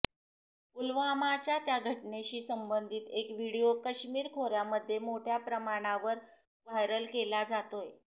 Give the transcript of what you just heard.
पुलवामाच्या त्या घटनेशी संबंधित एक व्हिडिओ काश्मीर खोऱ्यामध्ये मोठ्या प्रमाणावर व्हायरला केला जातोय